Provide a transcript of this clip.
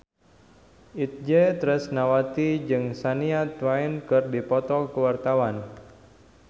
Itje Tresnawati jeung Shania Twain keur dipoto ku wartawan